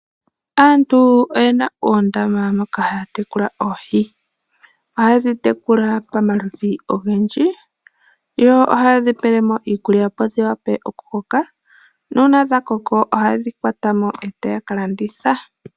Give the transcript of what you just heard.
Aantu oyena oondama moka haya tekula oohi, oha yedhi tekula pamaludhi ogendji, yo oha yedhi pelemo iikulya opo dhi wape oku koka, nuuna dha koko aha yedhi kwatamo etaya ka landitha.